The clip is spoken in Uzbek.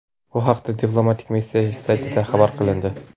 Bu haqda diplomatik missiya saytida xabar qilindi.